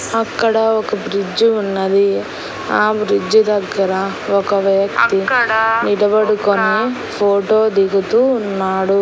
అక్కడ ఒక బ్రిడ్జ్ ఉన్నది ఆ బ్రిడ్జ్ దగ్గర ఒక వ్యక్తి నిలబడుకొని ఫోటో దిగుతూ ఉన్నాడు.